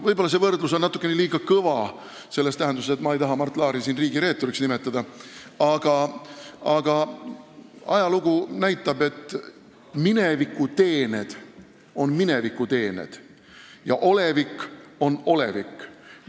Võib-olla on see võrdlus natukene liiga karm – selles tähenduses, et ma ei taha siin Mart Laari riigireeturiks nimetada –, aga ajalugu näitab, et minevikuteened on minevikuteened ja olevik on olevik.